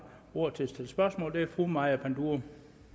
ordet til at stille spørgsmål er fru maja panduro